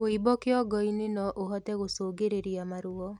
Wũimbo kĩongo-inĩ noũhote gũcũngĩrĩrĩa maruo